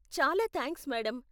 చాలా thanks, madam.